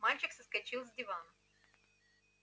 мальчик соскочил с дивана